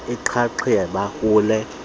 inxaxheba kule nkqubo